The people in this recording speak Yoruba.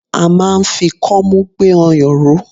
A máa ń fi kọ́mú gbé ọyàn ró.